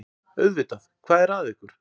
Auðvitað, hvað er að ykkur?